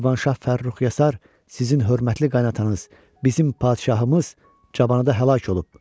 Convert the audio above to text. Şirvanşah Fərrux Yasər sizin hörmətli qaynatanız, bizim padşahımız cavanda həlak olub.